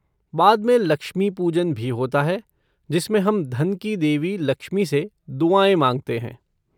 बाद में 'लक्ष्मी पूजन' भी होता है जिसमें हम धन की देवी लक्ष्मी से दुआएँ माँगते हैं।